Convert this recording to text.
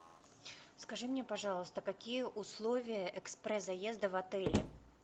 скажи мне пожалуйста какие условия экспресс заезда в отеле